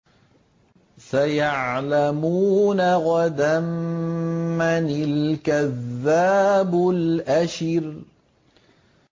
سَيَعْلَمُونَ غَدًا مَّنِ الْكَذَّابُ الْأَشِرُ